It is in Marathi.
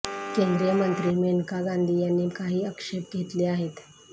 केंद्रीय मंत्री मेनका गांधी यांनी काही आक्षेप घेतले आहेत